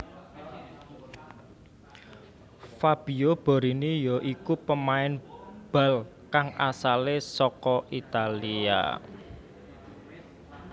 Fabio Borini ya iku pemain bal kang asalé saka Italia